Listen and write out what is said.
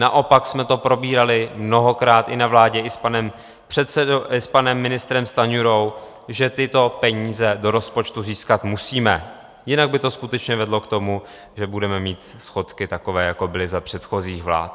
Naopak jsme to probírali mnohokrát i na vládě i s panem ministrem Stanjurou, že tyto peníze do rozpočtu získat musíme, jinak by to skutečně vedlo k tomu, že budeme mít schodky takové, jako byly za předchozích vlád.